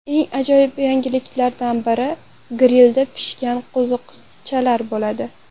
Eng ajoyib yangiliklardan biri grilda pishgan qo‘zichoq bo‘ladi.